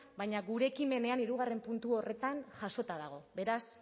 baina gure ekimenean hirugarrena puntu horretan jasota dago beraz